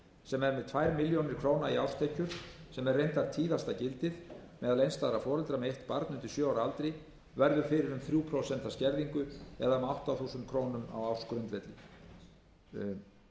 sem er með tvær milljónir króna í árstekjur sem er reyndar tíðasta gildið meðal einstæðra foreldra með eitt barn undir sjö ára aldri verður fyrir um þrjú prósent skerðingu það er um átta þúsund krónur á ársgrundvelli sex